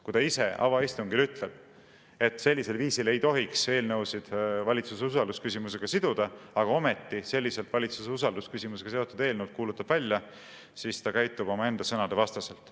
Kui ta ise avaistungil ütleb, et sellisel viisil ei tohiks eelnõusid valitsuse usaldusküsimusega siduda, aga ometi selliselt valitsuse usaldusküsimusega seotud eelnõud kuulutab välja, siis ta käitub omaenda sõnade vastaselt.